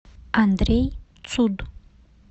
андрей цуд